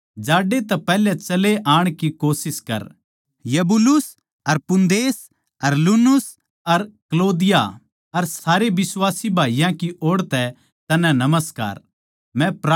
जाड्डे तै पैहल्या चले आण की कोशिश कर यूबूलुस अर पूदेंस अर लीनुस अर क्लौदीया अर सारे बिश्वासी भाईयाँ की ओड़ तै तन्नै नमस्कार